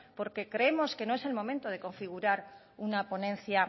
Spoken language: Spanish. porque creemos que no es el momento de configurar una ponencia